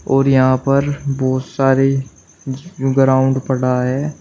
और यहां पर बहुत सारे ग्राउंड पड़ा है।